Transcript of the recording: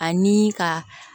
Ani ka